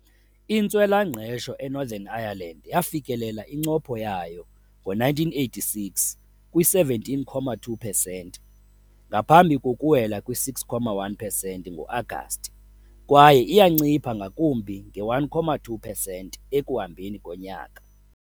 Intswela-ngqesho eNorthern Ireland yafikelela incopho yayo ngo-1986, kwi-17.2 pesenti, ngaphambi kokuwela kwi-6.1 pesenti ngo-Agasti kwaye iyancipha ngakumbi nge-1.2 pesenti ekuhambeni konyaka.